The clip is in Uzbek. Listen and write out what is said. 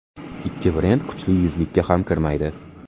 Ikki brend kuchli yuzlikka ham kirmaydi.